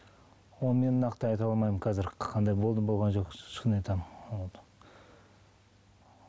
оны мен нақты айта алмаймын қазір қандай болды болған жоқ шын айтамын вот